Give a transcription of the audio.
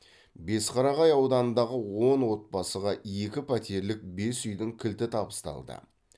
бесқарағай ауданындағы он отбасыға екі пәтерлік бес үйдің кілті табысталды